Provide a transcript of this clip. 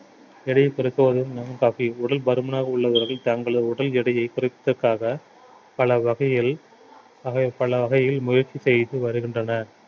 எடையை பெருக்குவதும் lemon coffee உடல் பருமனாக உள்ளவர்கள் தங்களது உடல் எடையை குறைப்பதற்காக பல வகையில் பக~ பல வகையில் முயற்சி செய்து வருகின்றனர்